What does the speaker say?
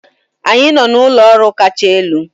Anyị nọ n'ụlọ ọrụ kacha elu.